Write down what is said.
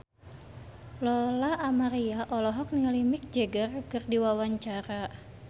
Lola Amaria olohok ningali Mick Jagger keur diwawancara